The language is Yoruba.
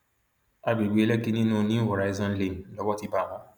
àgbègbè lèkì nínú new horizon lane lowó ti bá wọn